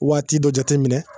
Waati dɔ jate minɛ